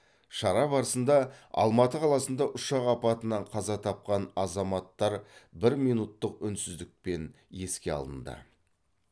шара барысында алматы қаласында ұшақ апатынан қаза тапқан азаматтар бір минуттық үнсіздікпен еске алынды